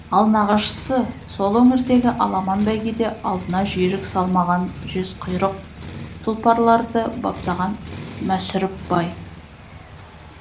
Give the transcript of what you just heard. ал нағашысы сол өңірдегі аламан бәйгеде алдына жүйрік салмаған жезқұйрық тұлпарларды баптаған мәсүріп бай